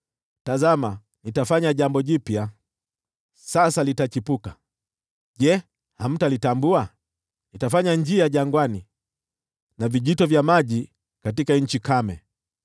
Tazama, nitafanya jambo jipya! Sasa litachipuka, je, hamtalitambua? Nitafanya njia jangwani na vijito vya maji katika nchi kame.